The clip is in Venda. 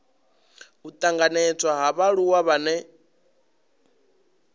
u tanganedzwa ha vhaaluwa vhane